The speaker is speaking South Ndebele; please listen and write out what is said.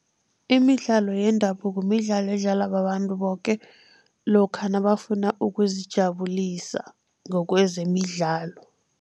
Imidlalo yendabuko midlalo edlalwa babantu boke, lokha nabafuna ukuzijabulisa ngokwezemidlalo.